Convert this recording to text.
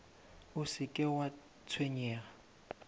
o se ke wa tshwenyega